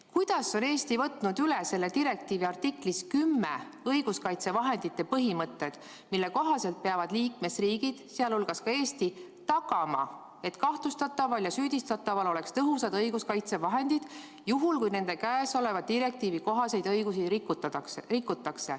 Kuidas on Eesti võtnud üle selle direktiivi artiklis 10 esitatud õiguskaitsevahendite põhimõtted, mille kohaselt peavad liikmesriigid, sh Eesti, tagama, et kahtlustataval ja süüdistataval oleksid kasutada tõhusad õiguskaitsevahendid, kui nende õigusi, mis tulenevad sellest direktiivist, rikutakse?